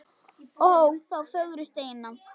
Ó þá fögru steina.